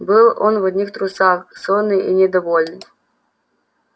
был он в одних трусах сонный и недовольный